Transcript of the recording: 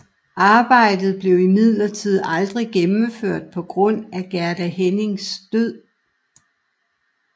Arbejdet blev imidlertid aldrig gennemført på grund af Gerda Hennings død